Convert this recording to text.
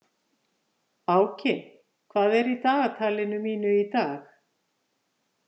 Áki, hvað er í dagatalinu mínu í dag?